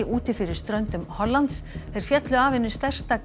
úti fyrir ströndum Hollands þeir féllu af einu stærsta